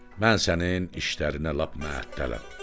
Mən sənin işlərinə lap məəttələm.